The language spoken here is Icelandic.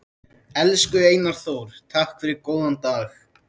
Elsku Einar Þór, takk fyrir góðan dag.